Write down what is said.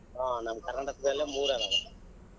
ಹ್ಮ್ ನಮ್ ಕರ್ನಾಟಕದಲ್ಲೇ ಮೂರ್ ಅದಾವೆ.